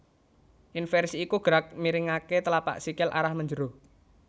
Inversi iku gerak miringaké tlapak sikil arah menjero